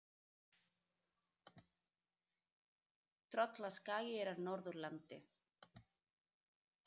Tröllaskagi er á Norðurlandi.